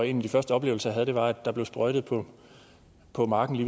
en af de første oplevelser jeg havde der var at der blev sprøjtet på marken